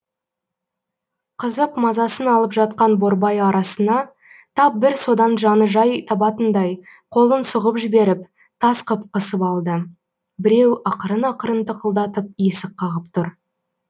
қызып мазасын алып жатқан борбайы арасына тап бір содан жаны жай табатындай қолын сұғып жіберіп тас қып қысып алды біреу ақырын ақырын тықылдатып есік қағып тұр